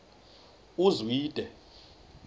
uzwide